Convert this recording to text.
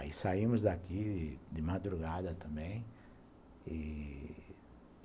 Aí saímos daqui de madrugada também e...